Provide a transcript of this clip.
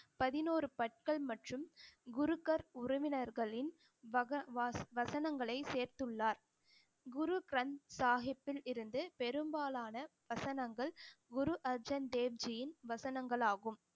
பதினோரு பற்கள் மற்றும் குருக்கர் உறவினர்களின் வக~ வ~ வசனங்களை சேர்த்துள்ளார் குரு கிரந்த சாஹிப்பில் இருந்து பெரும்பாலான வசனங்கள் குரு அர்ஜன் தேவ்ஜியின் வசனங்களாகும்